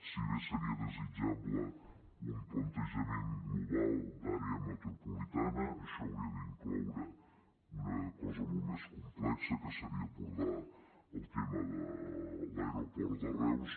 si bé seria desitjable un plantejament global d’àrea metropolitana això hauria d’incloure una cosa molt més complexa que seria abordar el tema de l’aeroport de reus